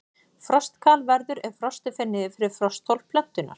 Frostkal verður ef frostið fer niður fyrir frostþol plöntunnar.